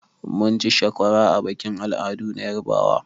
Mun ci sakwara a bikin al'adu na yarbawa.